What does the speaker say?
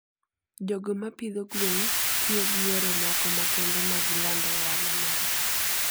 jogo ma pidho gwen tiyo gi yore moko makende mag lando ohala margi.